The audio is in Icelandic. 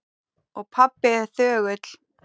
Og pabbi er þögull.